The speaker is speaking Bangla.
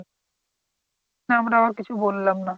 তাই আমরা ও কিছু বললাম না